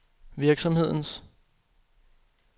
virksomhedens